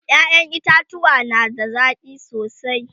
ƴaƴan itatauwa na da zaki sosai